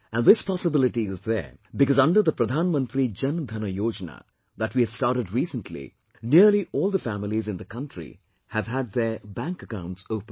And this possibility is there because under the Pradhan Mantri Jan Dhan Yojana that we have started recently, nearly all the families in the country have had their bank accounts opened